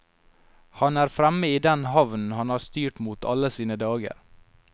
Han er fremme i den havnen han har styrt mot alle sine dager.